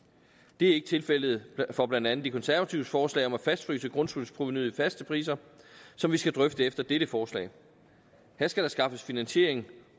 det er ikke tilfældet for blandt andet de konservatives forslag om at fastfryse grundskyldsprovenuet i faste priser som vi skal drøfte efter dette forslag her skal der skaffes finansiering